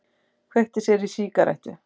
Kveikti sér í sígarettu.